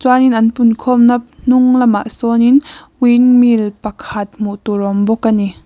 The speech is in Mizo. in an pun khawmna hnung lamah sawnin windmill pakhat hmuh tur a awm bawk a ni.